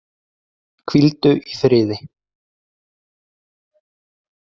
Hvíldu í friði.